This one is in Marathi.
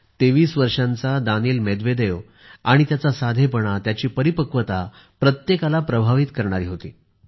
तेवीस वर्षाचा दानील मेदवेदेव आणि त्यांचा साधेपणा त्यांची परिपक्वता प्रत्येकाला प्रभावित करणारी होती